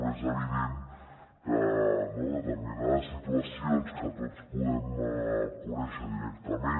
però és evident que determinades situacions que tots podem conèixer directament